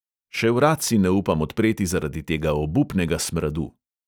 Še vrat si ne upam odpreti zaradi tega obupnega smradu.